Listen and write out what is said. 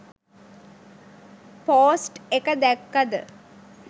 Post එක දැක්කද.